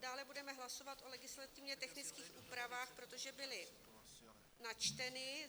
Dále budeme hlasovat o legislativně technických úpravách, protože byly načteny.